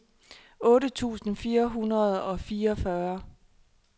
otte tusind fire hundrede og fireogfyrre